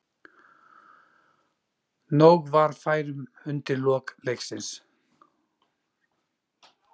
Nóg var færum undir lok leiksins.